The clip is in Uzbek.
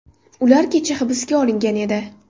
Ular kecha hibsga olingan edi.